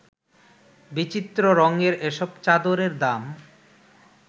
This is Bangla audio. বিচিত্র রংয়ের এসব চাদরের দাম